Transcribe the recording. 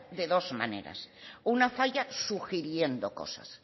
de dos maneras una falla sugiriendo cosas